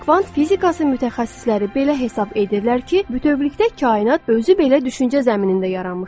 Kvant fizikası mütəxəssisləri belə hesab edirlər ki, bütövlükdə kainat özü belə düşüncə zəminində yaranmışdır.